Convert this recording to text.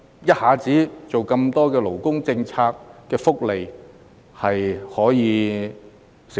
一下子推出這麼多勞工福利，商界能否承受？